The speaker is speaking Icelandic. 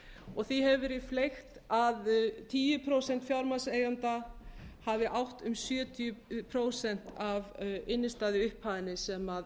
og því hefur verið fleygt að tíu prósent fjármagnseigenda hafi átt um sjötíu prósent af innstæðuupphæðinni sem